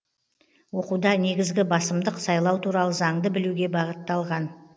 оқуда негізгі басымдық сайлау туралы заңды білуге бағытталған